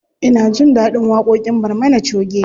Ina jin ɗaɗin waƙoƙin barmana choge.